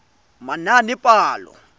manaanepalo